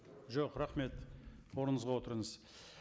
жоқ рахмет орныңызға отырыңыз